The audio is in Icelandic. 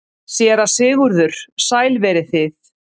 SÉRA SIGURÐUR: Sæl verið þið.